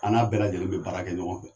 An n'a bɛɛ lajɛlen bɛ baara kɛ ɲɔgɔn fɛ.